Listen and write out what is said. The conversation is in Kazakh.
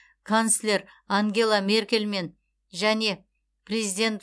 канцлер ангела меркельмен және президент